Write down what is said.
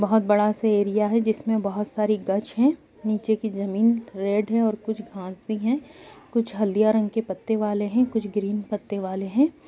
बहोत बडा सा एरिया है जिसमें बहोत सारी है निचे की ज़मीन रेड है कुछ घास भी है कुछ हल्दिया रंग के पत्ते वाले है कुछ ग्रीन पत्ते वाले है ।